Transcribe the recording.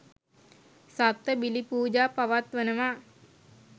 සත්ව බිලි පූජා පවත්වනවා.